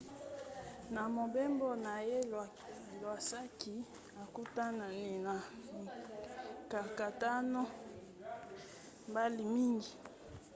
na mobembo na ye iwasaki akutanaki na mikakatano mbala mingi